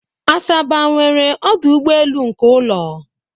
Asaba nwere ọdụ ụgbọelu nke ụlọ